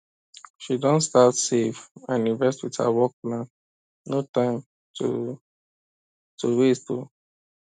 she don start save and invest with her work plan no time to to waste o